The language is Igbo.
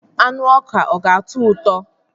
Anụ ọka ọka ga-atọ ụtọ?